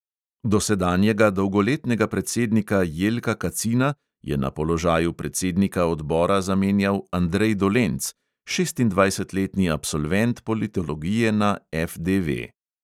Dosedanjega dolgoletnega predsednika jelka kacina je na položaju predsednika odbora zamenjal andrej dolenc, šestindvajsetletni absolvent politologije na FDV.